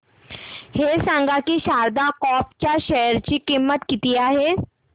हे सांगा की शारदा क्रॉप च्या शेअर ची किंमत किती आहे